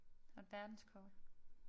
Der et verdenskort